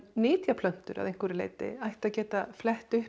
nytja plöntur að einhverju leyti ættu að geta flett upp